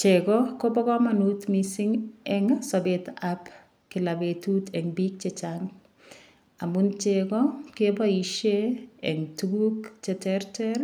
Cheko Kobo kamanut mising' eng' sobetab kila betut eng' biik chechang' amun cheko keboishe eng' tukuk cheterter